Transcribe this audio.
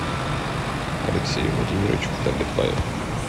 алексею владимировичу давлетбаеву